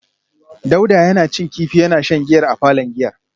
Dauda yana cin kifi yana shan giyar a palon giyar